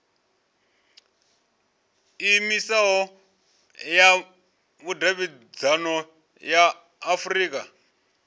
iimisaho ya vhudavhidzano ya afurika